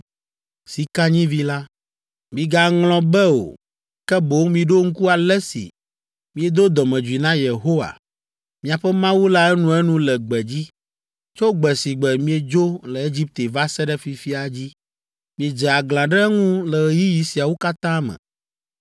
Migaŋlɔ be o, ke boŋ miɖo ŋku ale si miedo dɔmedzoe na Yehowa, miaƒe Mawu la enuenu le gbedzi, tso gbe si gbe miedzo le Egipte va se ɖe fifia dzi. Miedze aglã ɖe eŋu le ɣeyiɣi siawo katã me.